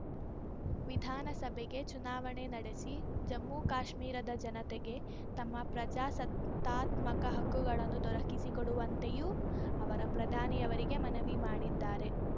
ವಿಧಾನಸಭೆಗೆ ಚುನಾವಣೆ ನಡೆಸಿ ಜಮ್ಮು ಕಾಶ್ಮೀರದ ಜನತೆಗೆ ತಮ್ಮ ಪ್ರಜಾಸತ್ತಾತ್ಮಕ ಹಕ್ಕುಗಳನ್ನು ದೊರಕಿಸಿ ಕೊಡುವಂತೆಯೂ ಅವರ ಪ್ರಧಾನಿಯವರಿಗೆ ಮನವಿ ಮಾಡಿದ್ದಾರೆ